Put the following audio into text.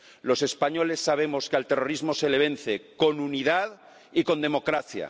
Los españoles sabemos que al terrorismo se le vence con unidad y con democracia.